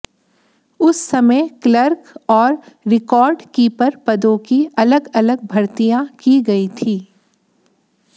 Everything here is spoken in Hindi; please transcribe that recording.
उस समय क्लर्क और रिकॉर्ड कीपर पदों की अलग अलग भर्तियां की गई थी